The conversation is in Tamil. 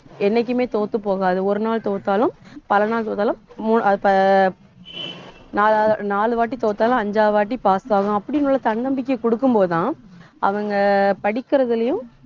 என்னைக்குமே தோத்து போகாது. ஒரு நாள் தோத்தாலும் பலநாள் தோத்தாலும் மு~ அஹ் நாலா~ நாலு வாட்டி தோத்தாலும் அஞ்சாவது வாட்டி pass ஆகும். அப்படின்னு உள்ள தன்னம்பிக்கை கொடுக்கும் போதுதான் அவங்க படிக்கிறதுலயும்